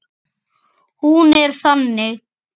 Hún er þannig